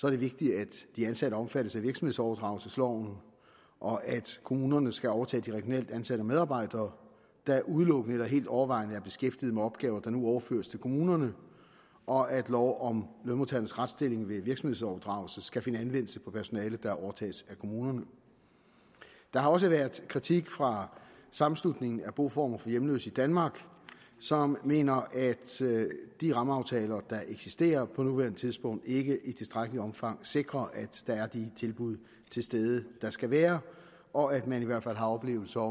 er det vigtigt at de ansatte omfattes af virksomhedsoverdragelsesloven og at kommunerne skal overtage de regionalt ansatte medarbejdere der udelukkende eller helt overvejende er beskæftiget med opgaver der nu overføres til kommunerne og at lov om lønmodtagernes retsstilling ved virksomhedsoverdragelse skal finde anvendelse på personalet der overtages af kommunerne der har også været kritik fra sammenslutningen af boformer for hjemløse i danmark som mener at de rammeaftaler der eksisterer på nuværende tidspunkt ikke i tilstrækkeligt omfang sikrer at der er de tilbud til stede der skal være og at man i hvert fald har oplevelser